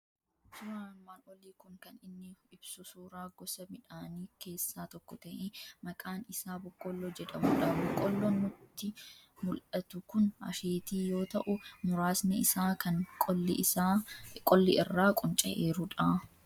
Suuraan armaan olii kun kan inni ibsu suuraa gosa midhaanii keessaa tokko ta'ee, maqaan isaa boqqolloo jedhamudha. Boqqolloon nutti mul'atu kun asheetii yoo ta'u, muraasni isaa kan qolli irraa qunca'eerudha.